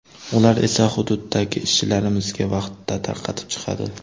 Ular esa hududidagi ishchilarimizga vaqtida tarqatib chiqadi.